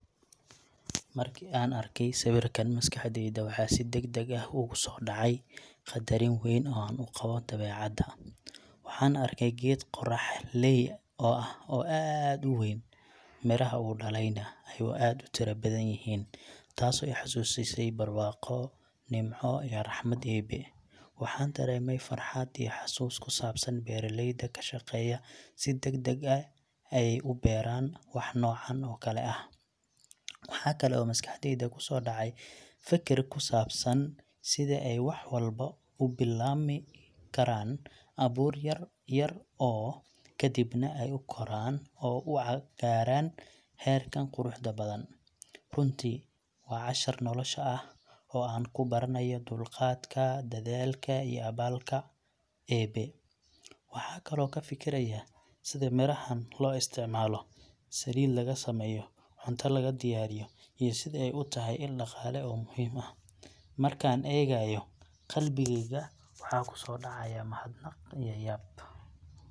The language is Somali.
Markii aan arkay sawirkan, maskaxdayda waxa si degdeg ah ugu soo dhacay qadarin weyn oo aan u qabo dabeecadda. Waxaan arkay geed qorraxley oo ah oo aad u weyn, midhaha uu dhalayna ayuu aad u tiro badan yihiin, taasoo i xasuusisay barwaaqo, nimco iyo raxmad Eebe. Waxaan dareemay farxad iyo xasuus ku saabsan beeraleyda ka shaqeeya si adagdag ah ay u beeraan wax noocan oo kale ah. Waxa kale oo maskaxdayda kusoo dhacay feker ku saabsan sida ay wax walba u bilaabmi karaan abuur yar yar oo, kadibna ay u koraan oo u gaaraan heerkan quruxda badan. Runtii, waa cashar nolosha ah oo aan ku baranayo dulqaadka, dadaalka iyo abaalka Eebbe. Waxaan kaloo ka fikiray sida midhahaan loo isticmaalo saliid laga sameeyo, cunto laga diyaariyo, iyo sida ay u tahay il dhaqaale oo muhiim ah. Markaan eegayo, qalbigayga waxa ku soo dhacaya mahadnaq iyo yaab.